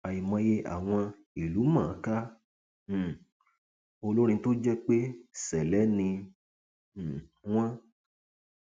àìmọye àwọn ìlúmọọnkà um olórin tó jẹ pé ṣẹlẹ ni um wọn